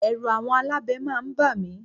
Ẹ̀rù àwọn alábẹ máa ń bà mí